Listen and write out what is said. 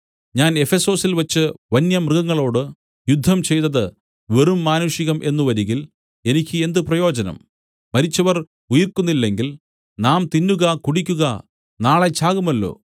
ഞാൻ എഫെസൊസിൽവച്ച് വന്യമൃഗങ്ങളോട് യുദ്ധം ചെയ്തത് വെറും മാനുഷികം എന്നു വരികിൽ എനിക്ക് എന്ത് പ്രയോജനം മരിച്ചവർ ഉയിർക്കുന്നില്ലെങ്കിൽ നാം തിന്നുക കുടിക്കുക നാളെ ചാകുമല്ലോ